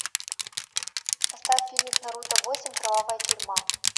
поставь фильмик наруто восемь кровавая тюрьма